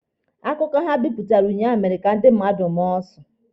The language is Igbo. Akụkọ ha bipụtara unyaahụ mere ka ndị mmadụ maa ụsụ.